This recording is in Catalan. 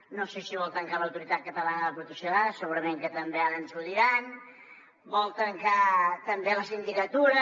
no sé si vol tancar l’autoritat catalana de protecció de dades segurament que també ara ens ho diran vol tancar també la sindicatura